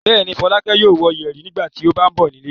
Bẹ́ẹ̀ ni, Fọlákẹ́ yóò wọ yẹ̀rì nígbà tó bá ń bọ̀ nílé.